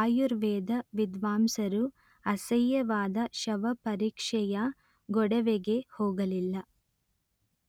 ಆಯುರ್ವೇದ ವಿದ್ವಾಂಸರು ಅಸಹ್ಯವಾದ ಶವಪರೀಕ್ಷೆಯ ಗೊಡವೆಗೆ ಹೋಗಲಿಲ್ಲ